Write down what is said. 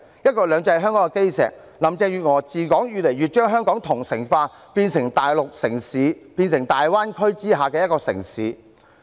"一國兩制"是香港的基石，自從林鄭月娥治港以來，越來越將香港同城化，變成大陸城市，變成大灣區之下的一個城市。